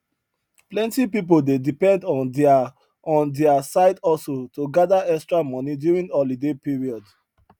plenty people dey depend on their on their side hustle to gather extra money during holiday period